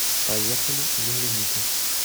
поехали земляника